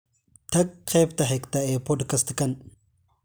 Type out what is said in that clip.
tag qaybta xigta ee podcast-kan